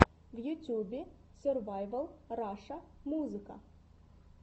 в ютьюбе сервайвал раша музыка